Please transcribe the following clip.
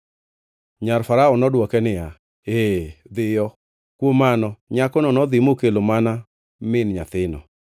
Nyar farao nodwoke niya, “Ee, dhiyo.” Kuom mano nyakono nodhi mokelo mana min nyathino.